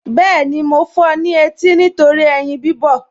Bẹ́ẹ̀ni, mo fọ ní etí nítorí ẹyin bíbọ̀